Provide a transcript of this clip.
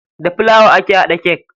Da filawa ake hada kek.